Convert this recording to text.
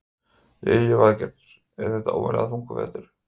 Lillý Valgerður: Er þetta óvenjulega þungur vetur?